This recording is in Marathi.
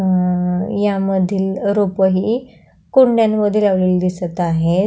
अ यामधील रोप ही कुंड्या मध्ये लावलेली दिसत आहेत.